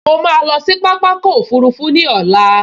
Mo ma lọ sí pápákọ̀ òfurufú ní ọ̀la